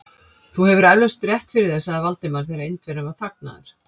Þú hefur eflaust rétt fyrir þér sagði Valdimar, þegar Indverjinn var þagnaður.